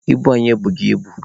Ibu anyị ebughị ibu.